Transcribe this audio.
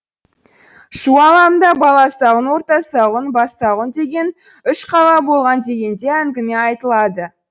шу алабында баласағұн ортасағұн бассағұн деген үш қала болған деген де әңгіме айтылады